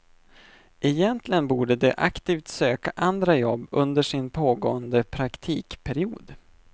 Egentligen borde de aktivt söka andra jobb under sin pågående praktikperiod.